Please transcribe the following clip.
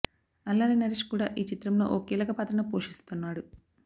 అల్లరి నరేష్ కూడా ఈ చిత్రంలో ఓ కీలక పాత్రను పోషిస్తున్నాడు